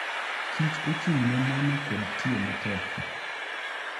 Kich ochung'ne nano kod tiyo matek.